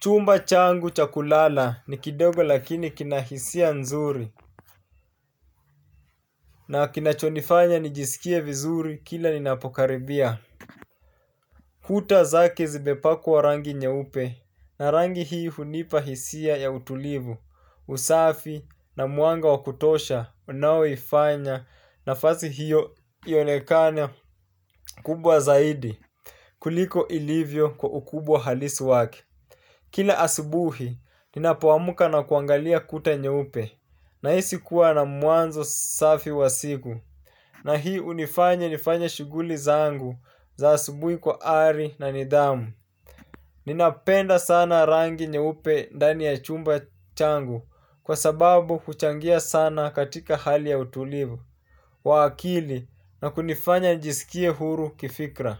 Chumba changu cha kulala ni kidogo lakini kina hisia nzuri. Na kinachonifanya nijisikie vizuri kila ninapokaribia. Kuta zake zimepakwa wa rangi nyeupe na rangi hii hunipa hisia ya utulivu, usafi na mwanga wa kutosha unaoifanya nafasi hiyo ionekane kubwa zaidi. Kuliko ilivyo kwa ukubwa halisi wake. Kila asubuhi ninapoamka na kuangalia kuta nyeupe. Nahisi kuwa na mwanzo safi wa siku Na hii hunifanya nifanyae shughuli zangu za asubuhi kwa ari na nidhamu. Ninapenda sana rangi nyeupe ndani ya chumba changu kwa sababu kuchangia sana katika hali ya utulivu wa akili na kunifanya njisikie huru kifikra.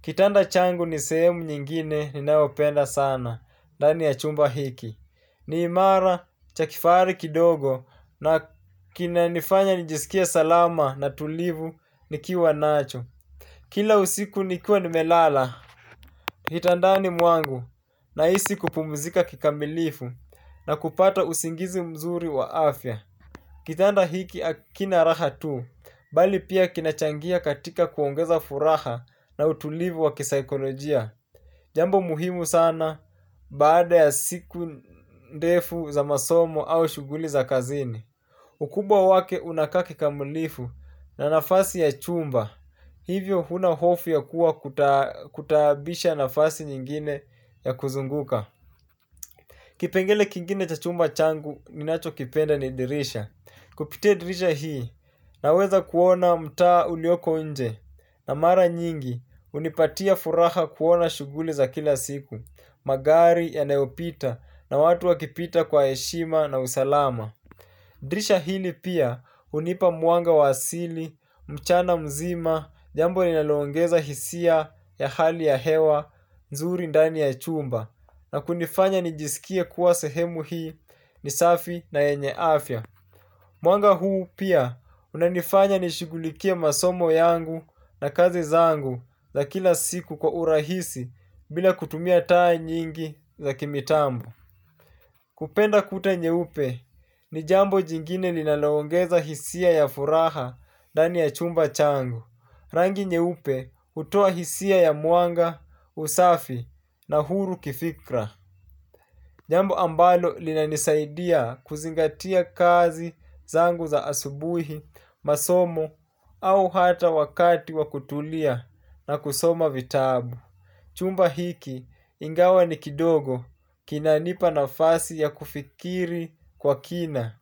Kitanda changu ni sehemu nyingine ninapenda sana ndani ya chumba hiki. Ni imara, cha kifahari kidogo na kinanifanya nijisikie salama na tulivu nikiwa nacho. Kila usiku nikiwa nimelala, kitandani mwangu nahisi kupumzika kikamilifu na kupata usingizi mzuri wa afya. Kitanda hiki hakina raha tu, bali pia kinachangia katika kuongeza furaha na utulivu wa kisaikolojia. Jambo muhimu sana baada ya siku ndefu za masomo au shughuli za kazini ukubwa wake unakaa kikamulifu na nafasi ya chumba. Hivyo huna hofu ya kuwa kutabisha nafasi nyingine ya kuzunguka. Kipengele kingine cha chumba changu ninachokipenda ni dirisha. Kupitia dirisha hii naweza kuona mtaa ulioko nje. Na mara nyingi hunipatia furaha kuona shughuli za kila siku magari yanayopita na watu wakipita kwa heshima na usalama. Dirisha hili pia hunipa mwanga wa asili, mchana mzima. Jambo ninaloongeza hisia ya hali ya hewa, nzuri ndani ya chumba na kunifanya nijisikie kuwa sehemu hii, ni safi na yenye afya. Mwanga huu pia unanifanya nishigulikie masomo yangu na kazi zangu za kila siku kwa urahisi bila kutumia taa nyingi za kimitambo. Kupenda kuta nyeupe ni jambo jingine linaloongeza hisia ya furaha ndani ya chumba changu. Rangi nyeupe jutoa hisia ya mwanga, usafi na uhuru kifikra. Jambo ambalo linanisaidia kuzingatia kazi zangu za asubuhi, masomo, au hata wakati wa kutulia na kusoma vitabu. Chumba hiki ingawa ni kidogo kinanipa nafasi ya kufikiri kwa kina.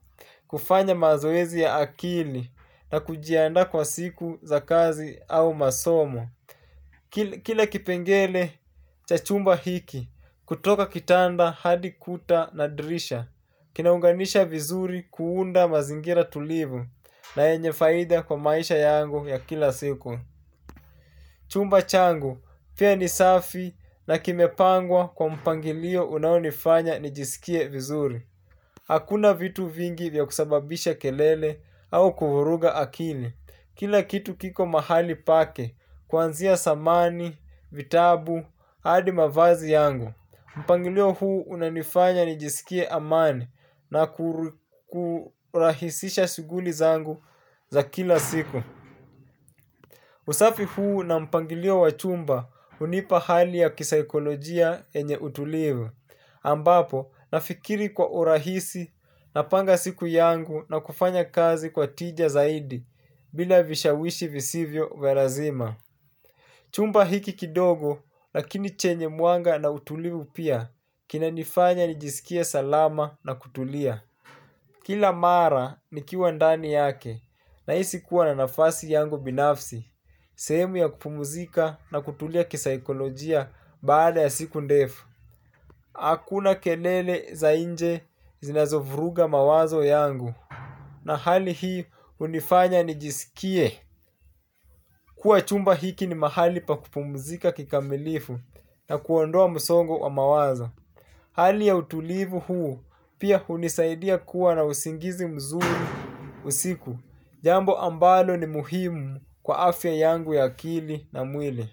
Kufanya mazoezi ya akili na kujiandaa kwa siku za kazi au masomo. Kila kipengele cha chumba hiki kutoka kitanda hadi kuta na dirisha kinaunganisha vizuri kuunda mazingira tulivu na yenye faida kwa maisha yangu ya kila siku. Chumba changu, pia ni safi na kimepangwa kwa mpangilio unaonifanya nijisikie vizuri. Hakuna vitu vingi vya kusababisha kelele au kuvuruga akili. Kila kitu kiko mahali pake, kuanzia samani, vitabu, hadi mavazi yangu. Mpangilio huu unanifanya nijisikie amani na kurahisisha shughuli zangu za kila siku. Usafi huu na mpangilio wachumba hunipa hali ya kisaikolojia yenye utulivu ambapo nafikiri kwa urahisi napanga siku yangu na kufanya kazi kwa tija zaidi bila vishawishi visivyo vya lazima. Chumba hiki kidogo, lakini chenye mwanga na utulivu pia, kinanifanya nijisikie salama na kutulia. Kila mara nikiwa ndani yake, nahisi kuwa na nafasi yangu binafsi, sehemu ya kupumuzika na kutulia kisaikolojia baada ya siku ndefu. Hakuna kelele za nje zinazovruga mawazo yangu, na hali hii hunifanya nijisikie. Kuwa chumba hiki ni mahali pa kupumuzika kikamilifu na kuondoa msongo wa mawazo. Hali ya utulivu huu pia hunisaidia kuwa na usingizi mzuri usiku. Jambo ambalo ni muhimu kwa afya yangu ya akili na mwili.